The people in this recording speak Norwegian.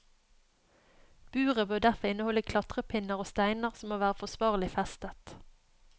Buret bør derfor inneholde klatrepinner og steiner som må være forsvarlig festet.